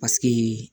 Paseke